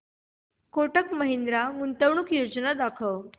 कोटक महिंद्रा गुंतवणूक योजना दाखव